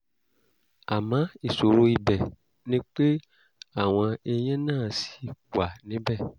àmọ́ ìṣòro ibẹ̀ ni pé àwọn eyín náà ṣì wà níbẹ̀